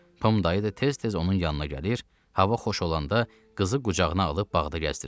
Pom dayı da tez-tez onun yanına gəlir, hava xoş olanda qızı qucağına alıb bağda gəzdirirdi.